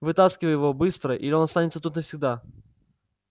вытаскивай его быстро или он останется тут навсегда